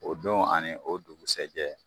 O don ani o dugusajɛ